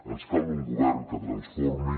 ens cal un govern que transformi